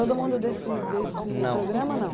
Todo mundo desse desse programa, não?